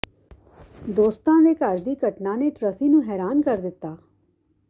ਦੋਸਤਾਂ ਦੇ ਘਰ ਦੀ ਘਟਨਾ ਨੇ ਟ੍ਰਸੀ ਨੂੰ ਹੈਰਾਨ ਕਰ ਦਿੱਤਾ